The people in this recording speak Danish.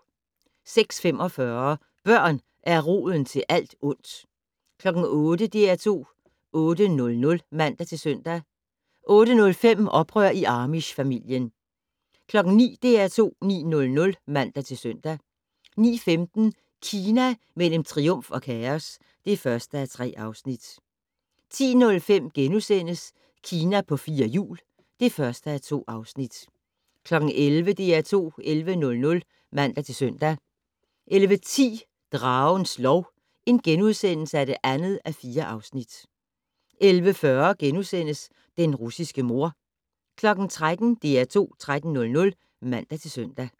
06:45: Børn er roden til alt ondt 08:00: DR2 8:00 (man-søn) 08:05: Oprør i amish-familien 09:00: DR2 9:00 (man-søn) 09:15: Kina mellem triumf og kaos (1:3) 10:05: Kina på fire hjul (1:2)* 11:00: DR2 11:00 (man-søn) 11:10: Dragens lov (2:4)* 11:40: Den russiske mor * 13:00: DR2 13:00 (man-søn)